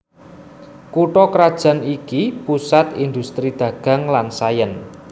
Kutha krajan iki pusat indhustri dagang lan sains